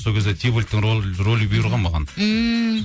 сол кезде тибальттің ролі бұйырған маған ммм